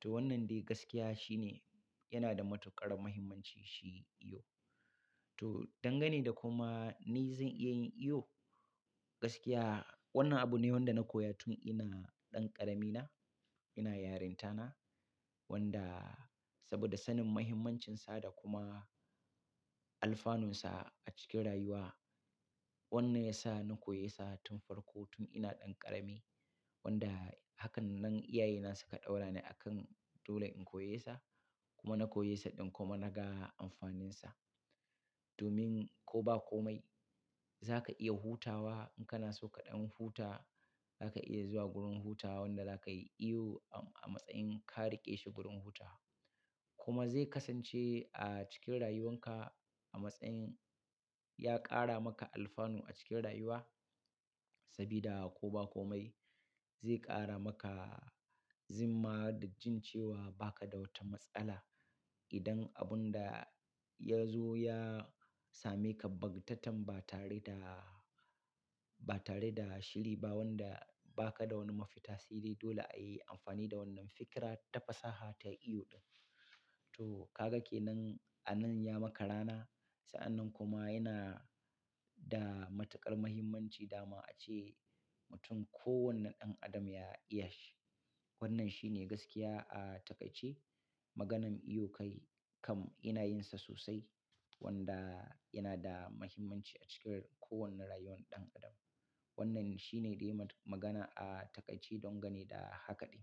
To wannan dai gaskiya shine yana da matuƙar muhimmanci shi iyo. To, dangane da kuma ni zan iya yin iyo? Gaskiya wannan abu ne wanda na koya tun ina ɗan ƙarami na, ina yarinta na wanda saboda sanin muhimmancinsa da kuma alfanunsa a cikin rayuwa. Wannan ya sa na koyesa tun farko tun ina ɗan ƙarami wanda hakan nan iyaye na suka ɗaura ni akan dole in koyesa kuma na koyesa ɗin kuma na ga amfaninsa. Domin ko ba komai za ka iya hutawa in kana so kaɗan huta, za ka iya zuwa gurin hutawa wanda za ka yi iyo a matsayin ka riƙe shi gurin hutawa. Kuma zai kasance a cikin rayuwanka a matsayin ya ƙara maka alfanu a cikin rayuwa. Sabida ko ba komai zai ƙara maka zimma da jin cewa ba ka da wata matsala idan abun da ya zo ya same ka bak tatan ba tare da, ba tare da shiri ba wanda ba ka da wani mafita sai dai dole a yi amfani da wannan fikira ta fasaha ta iyo ɗin. To ka ga kenan a nan ya maka rana. Sa'annan kuma yana da matuƙar muhimmanci da ma a ce mutum kowane ɗan adam ya iya shi. Wannan shine gaskiya a taƙaice. Maganan iyo kai kam ina yin sa sosai wanda yana da mahimmanci a cikin kowane rayuwar ɗan adam. Wannan shine dai magana a taƙaice dangane da haka ɗin.